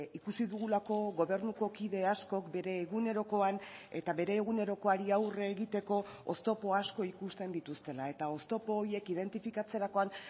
ikusi dugulako gobernuko kide askok bere egunerokoan eta bere egunerokoari aurre egiteko oztopo asko ikusten dituztela eta oztopo horiek identifikatzerakoan